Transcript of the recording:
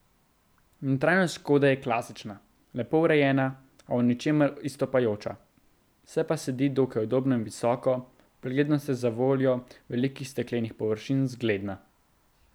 Notranjost škode je klasična, lepo urejena, a v ničemer izstopajoča, se pa sedi dokaj udobno in visoko, preglednost je zavoljo velikih steklenih površin zgledna.